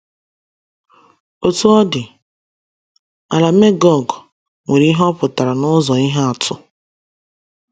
Otú ọ dị,, “ ala Megọg ” nwere ihe ọ pụtara n’ụzọ ihe atụ.